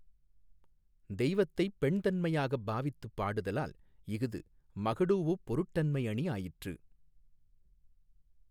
தெய்வத்தைப் பெண் தன்மையாகப் பாவித்துப் பாடுதலால் இஃது மகடூஉப் பொருட்டன்மை அணி ஆயிற்று.